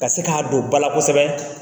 Ka se k'a don ba la kosɛbɛ